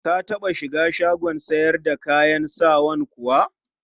Ka taɓa shiga shagon sayar da kayan sawan kuwa?